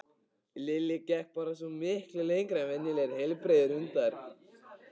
Lilli gekk bara svo miklu lengra en venjulegir heilbrigðir hundar.